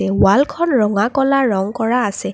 ৱালখন ৰঙা ক'লা ৰঙ কৰা আছে।